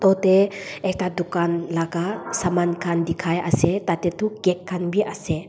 utey ekta dukan laga saman khan dikhai ase tatey tu cake khan bi ase.